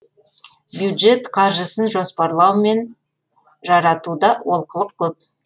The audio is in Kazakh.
бюджет қаржысын жоспарлау мен жаратуда олқылық көп